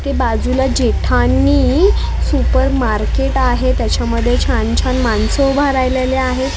ते बाजूला जेठानी सुपर मार्केट आहे त्याच्यामध्ये छान छान माणसं उभा राहिलेले आहे.